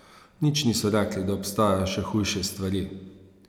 Nič niso rekli, da obstajajo še hujše stvari.